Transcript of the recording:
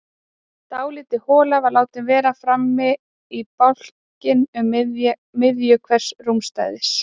Dálítil hola var látin vera framan í bálkinn um miðju hvers rúmstæðis.